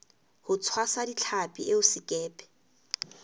ho tshwasa ditlhapi eo sekepe